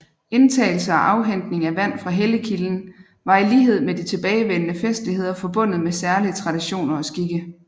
Indtagelse og afhentning af vand fra helligkilden var i lighed med de tilbagevende festligheder forbundet med særlige traditioner og skikke